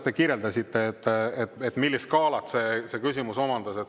Te kirjeldasite, millise skaala see küsimus omandas.